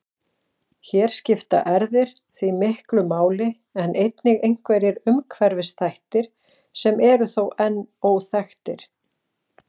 Hér skipta erfðir því miklu máli en einnig einhverjir umhverfisþættir sem eru þó enn óþekktir.